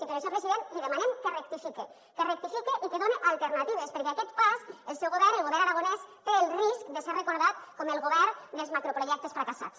i per això president li demanem que rectifique que rectifique i que done alternatives perquè a aquest pas el seu govern el govern aragonès té el risc de ser recordat com el govern dels macroprojectes fracassats